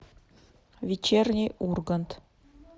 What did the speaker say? вечерний ургант